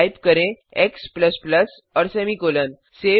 type करें x और semicolon